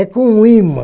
É com um ímã.